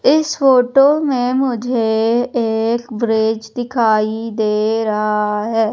इस फोटो में मुझे एक ब्रिज दिखाई दे रहा हैं।